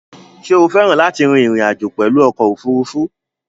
Sé o féràn láti rin ìrìn àjò pèlu okò òfurufú?